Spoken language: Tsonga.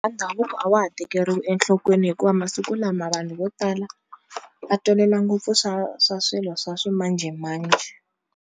ndhavuko a wa ha tekeriwi enhlokweni hikuva masiku lama vanhu vo tala va tolela ngopfu swa swa swilo swa swimanjhemanjhe.